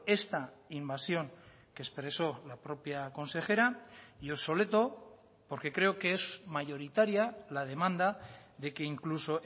esta invasión que expresó la propia consejera y obsoleto porque creo que es mayoritaria la demanda de que incluso